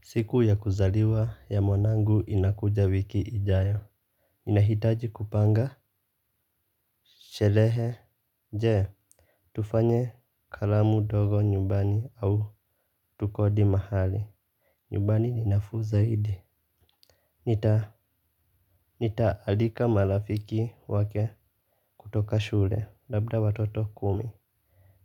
Siku ya kuzaliwa ya mwanangu inakuja wiki ijayo ninahitaji kupanga. Sherehe. Je tufanye karamu ndogo nyumbani au tukodi mahali. Nyumbani ni nafuu zaidi. Nitaalika marafiki wake kutoka shule labda watoto kumi.